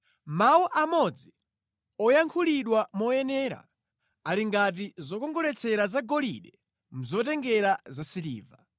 Mawu amodzi woyankhulidwa moyenera ali ngati zokongoletsera zagolide mʼzotengera zasiliva.